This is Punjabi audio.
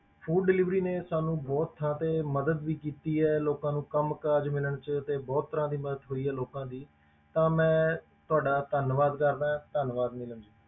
Food delivery ਨੇ ਸਾਨੂੰ ਬਹੁਤ ਥਾਂ ਤੇ ਮਦਦ ਵੀ ਕੀਤੀ ਹੈ, ਲੋਕਾਂ ਨੂੰ ਕੰਮ ਕਾਰਜ ਮਿਲਣ 'ਚ ਤੇ ਬਹੁਤ ਤਰ੍ਹਾਂ ਦੀ ਮਦਦ ਹੋਈ ਹੈ ਲੋਕਾਂ ਦੀ ਤਾਂ ਮੈਂ ਤੁਹਾਡਾ ਧੰਨਵਾਦ ਕਰਦਾ ਹਾਂ, ਧੰਨਵਾਦ ਨੀਲਮ ਜੀ।